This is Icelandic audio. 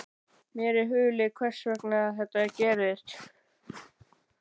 Mér er hulið hvers vegna þetta gerist.